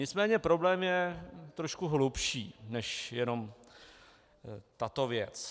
Nicméně problém je trošku hlubší než jenom tato věc.